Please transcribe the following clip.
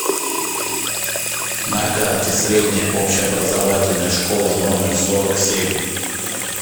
на карте средняя общеобразовательная школа номер сорок семь